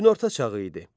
Günorta çağı idi.